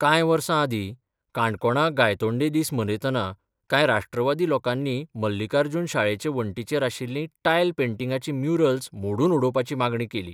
कांय वर्स आदी काणकोणां 'गायतोंडे दीस 'मनयतना काय 'राष्ट्रवादी 'लोकांनी मल्लिकार्जुन शाळेचे वण्टीचेर आशिल्लीं टायल पेंटिंगांची म्युरल्स मोडून उडोवपाची मागणी केली.